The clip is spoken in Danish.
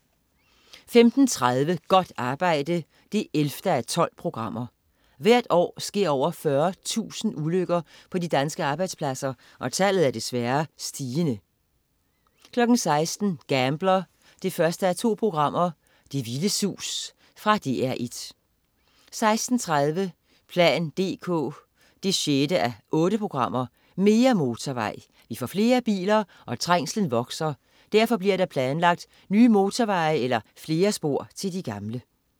15.30 Godt arbejde 11:12. Hvert år sker over 40.000 ulykker på de danske arbejdspladser, og tallet er desværre stigende 16.00 Gambler 1:2. Det vilde sus. Fra DR1 16.30 plan dk 6:8. Mere motorvej. Vi får flere biler, og trængslen vokser. Derfor bliver der planlagt nye motorveje eller flere spor til de gamle